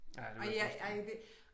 Ej jeg ej ja det